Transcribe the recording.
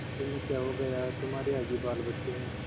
तुम्हें क्या हो गया है तुम्हारे आगे बालबच्चे हैं